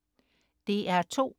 DR2: